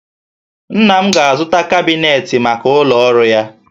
Nna m ga-azụta kabinetị maka ụlọ ọrụ ya